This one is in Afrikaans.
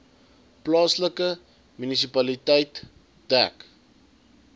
plaaslike munisipaliteit dek